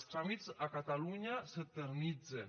els tràmits a catalunya s’eternitzen